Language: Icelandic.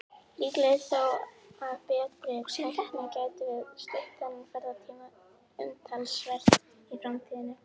Líklegt er þó að með betri tækni gætum við stytt þennan ferðatíma umtalsvert í framtíðinni.